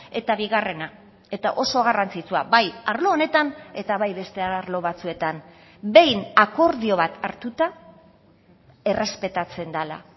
eta bigarrena eta oso garrantzitsua bai arlo honetan eta bai beste arlo batzuetan behin akordio bat hartuta errespetatzen dela